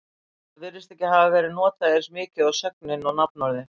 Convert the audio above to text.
það virðist ekki hafa verið notað eins mikið og sögnin og nafnorðið